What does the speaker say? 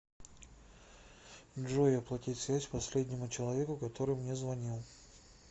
джой оплати связь последнему человеку который мне звонил